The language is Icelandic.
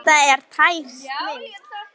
Þetta er tær snilld.